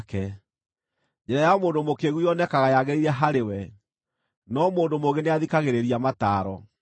Njĩra ya mũndũ mũkĩĩgu yonekaga yagĩrĩire harĩ we, no mũndũ mũũgĩ nĩathikagĩrĩria mataaro.